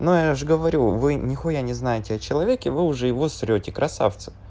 ну я же говорю вы нехуя не знаете о человеке вы его уже срёте красавцы